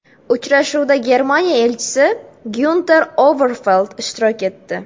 Uchrashuvda Germaniya Elchisi Gyunter Overfeld ishtirok etdi.